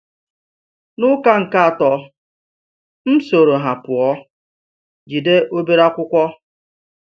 N’ụka nke atọ, m soro ha pụọ, jide obere akwụkwọ.